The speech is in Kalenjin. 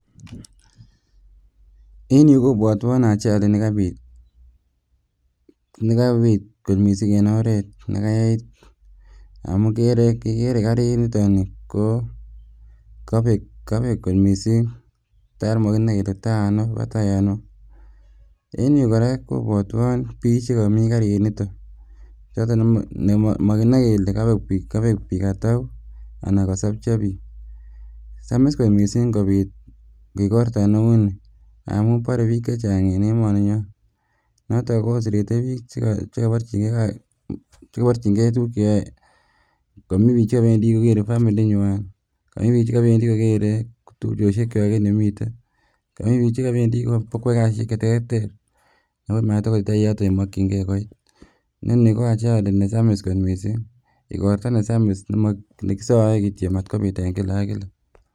En yuu kobwotwon ajali nekabit nekabit kot missing en oret nekayait amun kikere kikere karit niton nii kokobek kobek kot missing tar mokinoe kele tai ano kobatai ano en yuu kora kobwotwon biik chekomii kariniton choton mokinoe kele kobek biik atau anan kosopcho biik. Samis kot missing ngobit igorto neu nii amun bore biik chechang en emoninyon noton koserete biik chekoborchin chekoborchingee tukuk cheyoe komii biik chekobendii kokere family inywan, komii biik chekobendii kokere tupchosiek kwak en yemiten, komii biik chekobendii kobokwoe kasisiek cheterter ako matokoitita yoton yemokyingee koit. Inoni ko ajali nesamis kot missing, igorto nesamis nemo nekisoe kityo matkobiit eng kila ak kila